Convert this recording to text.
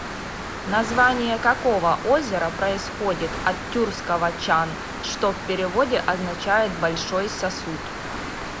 название какого озера происходит от тюркского чан что в переводе означает большой сосуд